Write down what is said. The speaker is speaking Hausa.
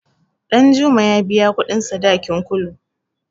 Ɗanjuma ya biya kuɗin sadakin Kulu.